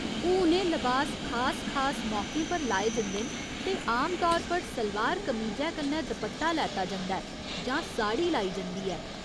हुन एह् लबास खास खास मौके पर लाए जंदे न ते आम तौर पर सलवार कमीजै कन्नै दपट्टा लैता जंदा ऐ जां साड़ी लाई जंदी ऐ।